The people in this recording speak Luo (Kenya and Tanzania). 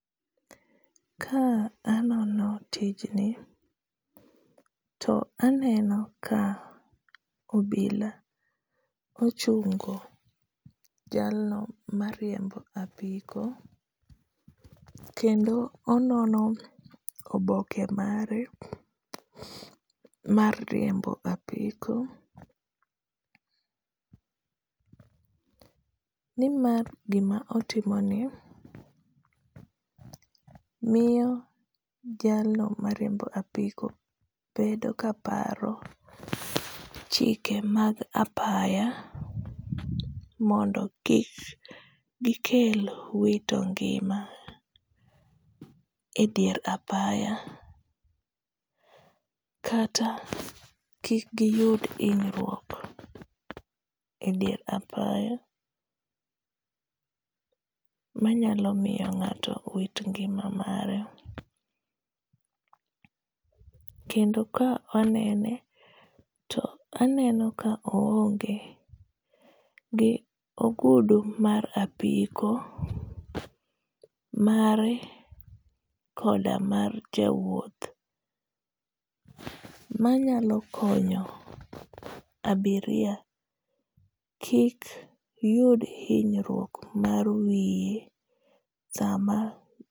Ka anono tijni, to aneno ka obila ochungo jalno mariembo apiko. Kendo onono oboke mare mar riembo apiko. Ni mar gima otimoni, miyo jalno mariembo apiko bedo ka paro chike mag apaya, mondo kik gikel wito ngima e dier apaya, kata kik giyud hinyruok e dier apaya manyalo miyo ngáto wit ngima mare. Kendo ka anene, aneno ka oonge gi ogudu mar apiko, mare koda mar jawuoth. Manyalo konyo abiria kik yud hinyruok mar wiye sama,